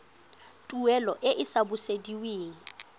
tuelo e e sa busediweng